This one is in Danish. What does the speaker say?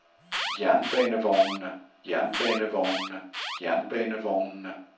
jernbanevognene jernbanevognene jernbanevognene